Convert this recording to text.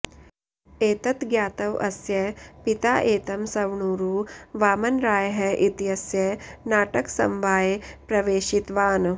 एतत् ज्ञात्व अस्य पिता एतं सवणुरु वामनरायः इत्यस्य नाटकसमवाये प्रवेशितवान्